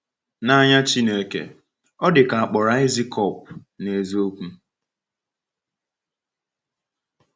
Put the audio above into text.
N’anya Chineke, ọ dị ka a kpọrọ Aịzikọp n’eziokwu.